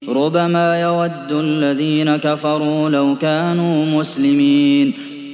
رُّبَمَا يَوَدُّ الَّذِينَ كَفَرُوا لَوْ كَانُوا مُسْلِمِينَ